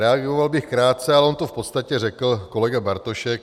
Reagoval bych krátce, ale on to v podstatě řekl kolega Bartošek.